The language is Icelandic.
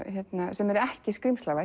sem er ekki